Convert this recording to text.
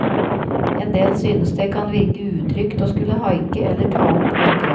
En del syntes det kan virke utrygt og skulle haike eller ta opp haikere.